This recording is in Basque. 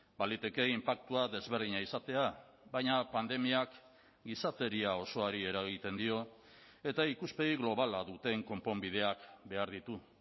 baliteke inpaktua desberdina izatea baina pandemiak gizateria osoari eragiten dio eta ikuspegi globala duten konponbideak behar ditu